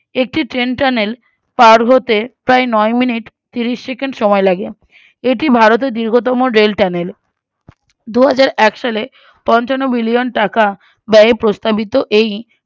একটি train channel পার হতে প্রায় ন minute ত্রিশ second সময় লাগে এটি ভারতের দীর্ঘতম rail channel দুহাজারএক সালে পঞ্চান্ন billion টাকা ব্যয় প্রস্তাবিত এই